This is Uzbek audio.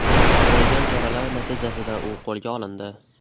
Ko‘rilgan choralar natijasida u qo‘lga olindi .